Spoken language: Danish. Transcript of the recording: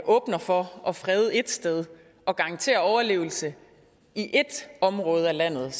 åbner for at frede det ét sted og garanterer overlevelse i ét område af landet er